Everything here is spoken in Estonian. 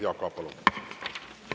Jaak Aab, palun!